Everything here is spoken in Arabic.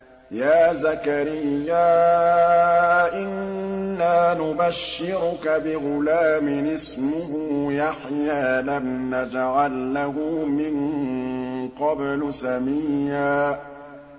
يَا زَكَرِيَّا إِنَّا نُبَشِّرُكَ بِغُلَامٍ اسْمُهُ يَحْيَىٰ لَمْ نَجْعَل لَّهُ مِن قَبْلُ سَمِيًّا